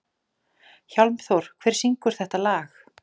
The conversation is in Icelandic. Hjálmþór, hver syngur þetta lag?